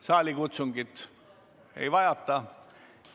Saalikutsungit ei ole vaja.